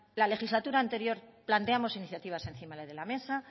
la legislatura anterior planteamos iniciativas encima de la mesa